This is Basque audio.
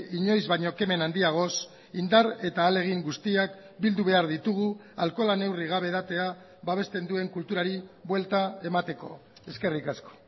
inoiz baino kemen handiagoz indar eta ahalegin guztiak bildu behar ditugu alkohola neurri gabe edatea babesten duen kulturari buelta emateko eskerrik asko